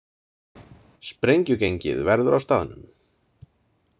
Sprengjugengið verður á staðnum!